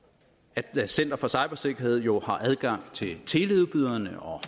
at center for cybersikkerhed jo har adgang til teleudbyderne og